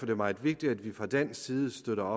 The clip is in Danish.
det meget vigtigt at vi fra dansk side støtter